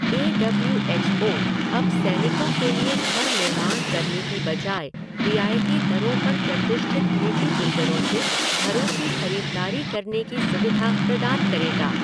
ए W H O अब सैनिकों के लिए घर निर्माण करने की बजाय रियायती दरों पर प्रतिष्ठित निजी बिल्डरों से घरों की खरीददारी करने की सुविधा प्रदान करेगा।